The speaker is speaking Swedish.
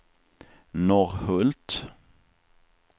Norrhult